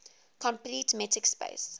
complete metric space